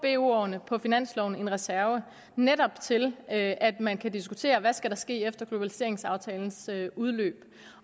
årene på finansloven en reserve netop til at at man kan diskutere hvad der skal ske efter globaliseringsaftalens udløb